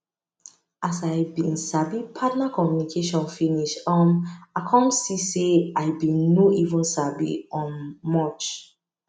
as i been sabi partner communication finish um i come see say i been no even sabi um much